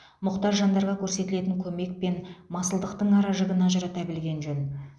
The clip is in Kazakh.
мұқтаж жандарға көрсетілетін көмек пен масылдықтың ара жігін ажырата білген жөн